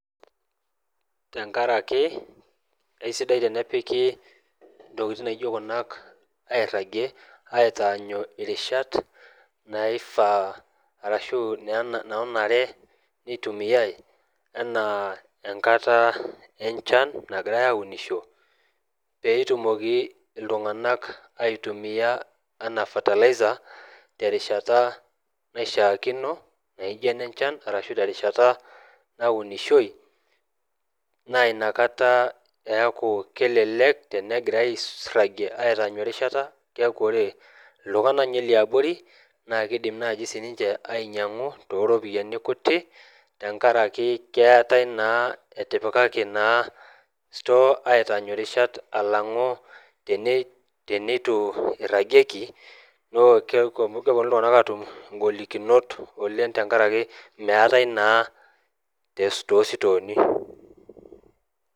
tenkaraki eisidai tenepiki ntokitin naijo kuna airagie aitaanyu irishat, naifaa arashu naanare nitumiae anaa enkata enchan nagirae aaunisho, pee etumoki iltunganak aitumia anaa fertilizer terishata naishaakino naijo ene nchana arashu terishata, naunishoi, naaa ina kata eeku kelelek tenegirae airagie aitaanyu erishata. keeku ore, iltungana ninye liabori naakidim sii ninche ainyiang'u tooropiyiani kuti, tenkaraki keetae naa, etipikaki naa store aitaanyu erishata. alang'u teneitu irajieki, kepuonu iltunganak aatum igolikinot oleng tenkaraki, meetae naa too sitooni.